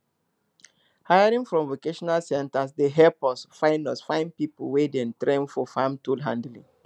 hiring from vocational centres dey help us find us find people wey dem train for farm tool handling